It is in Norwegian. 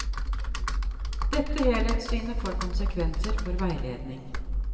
Dette helhetssynet får konsekvenser for veiledning.